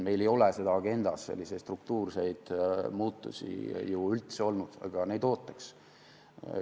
Meil ei ole agendas struktuurseid muutusi ju üldse olnud, aga neid ootaks.